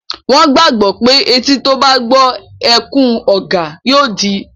Wọ́n gbàgbọ́ pé etí tó bá gbọ́ ẹkún ọ̀gà yóò di